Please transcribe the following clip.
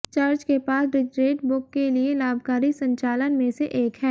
church के पास Deseret book के लिए लाभकारी संचालन में से एक है